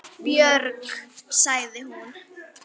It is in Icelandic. Björg, sagði hún.